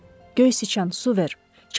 Göysüçən, su ver!